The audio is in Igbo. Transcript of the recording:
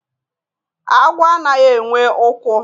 agwọ anaghị enwe ụkwụ